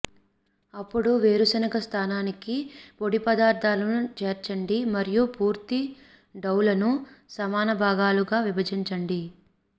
అప్పుడు వేరుశెనగ స్థానానికి పొడి పదార్ధాలను చేర్చండి మరియు పూర్తి డౌలను సమాన భాగాలుగా విభజించండి